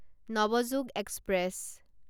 Navyug express